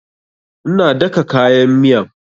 Ina daka kayan miyan